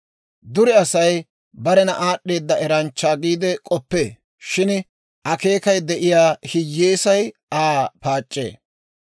Dure Asay barena aad'd'eeda eranchcha giide k'oppee; shin akeekay de'iyaa hiyyeesay Aa paac'c'ee.